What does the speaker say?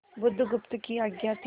बुधगुप्त की आज्ञा थी